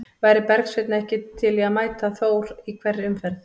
Væri Bergsveinn ekki til í að mæta Þór í hverri umferð?